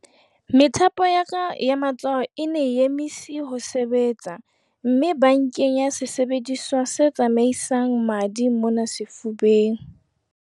Methapo ya ka ya matsoho e ne e emise ho sebetsa mme ba nkenya sesebediswa se tsamaisang madi mona sefubeng.